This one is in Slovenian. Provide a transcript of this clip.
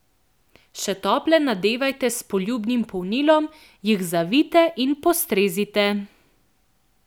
Še tople nadevajte s poljubnim polnilom, jih zvijte in postrezite.